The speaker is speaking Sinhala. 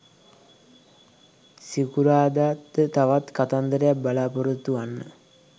සිකුරාදා ද තවත් කතන්දරයක් බලාපොරොත්තු වන්න.